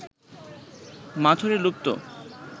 মাথুরে লুপ্ত